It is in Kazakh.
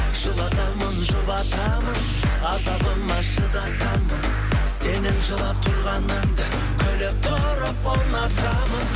жылатамын жұбатамын азабыма шыдатамын сенің жылап тұрғаныңда күліп тұрып ұнатамын